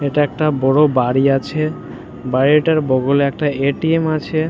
এটা একটা বোড় বাড়ি আছে বাড়িটার বগলে একটা এ_টি_এম আছে।